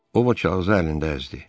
O kağızı əlində əzdi.